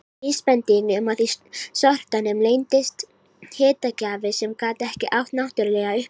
Vísbending um að í sortanum leyndist hitagjafi sem gat ekki átt náttúruleg upptök.